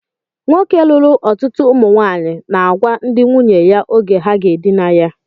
Nwoke lụrụ ọtụtụ ụmụnwaanyị na-agwa ndị nwunye ya oge ha ga-edina ya